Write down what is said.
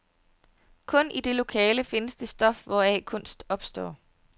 Kun i det lokale findes det stof, hvoraf kunst opstår.